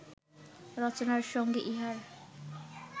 রচনার সঙ্গে ইহার